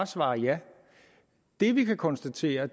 svare ja det vi kan konstatere